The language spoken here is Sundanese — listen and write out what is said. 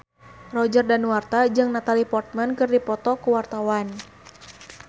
Roger Danuarta jeung Natalie Portman keur dipoto ku wartawan